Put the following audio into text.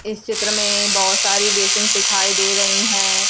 इस चित्र में बहोत सारी बेसिन दिखाई दे रही हैं।